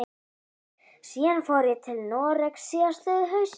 Síðan fór ég til Noregs síðastliðið haust.